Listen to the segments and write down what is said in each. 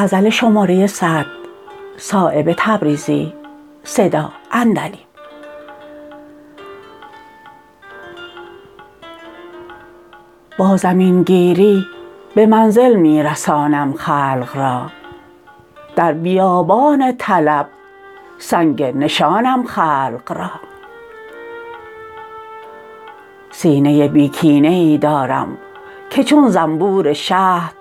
با زمین گیری به منزل می رسانم خلق را در بیابان طلب سنگ نشانم خلق را سینه بی کینه ای دارم که چون زنبور شهد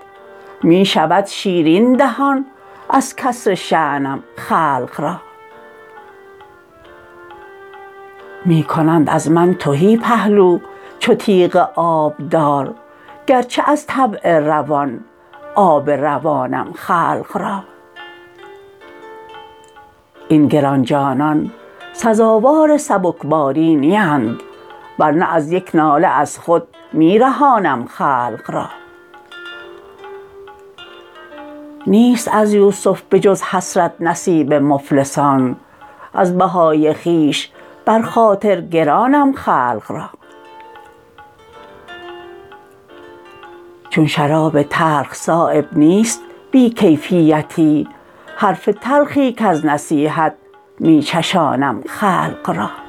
می شود شیرین دهان از کسر شانم خلق را می کنند از من تهی پهلو چو تیغ آبدار گر چه از طبع روان آب روانم خلق را این گرانجانان سزاوار سبکباری نیند ورنه از یک ناله از خود می رهانم خلق را نیست از یوسف بجز حسرت نصیب مفلسان از بهای خویش بر خاطر گرانم خلق را چون شراب تلخ صایب نیست بی کیفیتی حرف تلخی کز نصیحت می چشانم خلق را